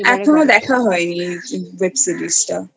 আমার এখনো দেখা হয় নি Webseries টা